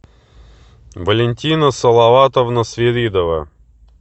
валентина салаватовна свиридова